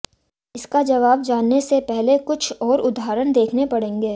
इसका जवाब जानने से पहले कुछ और उदाहरण देखने पड़ेंगे